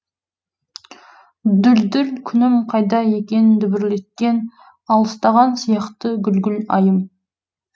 дүлдүл күнім қайда екен дүбірлеткен алыстаған сияқты гүлгүл айым